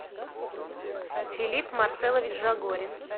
филипп марселович жагорин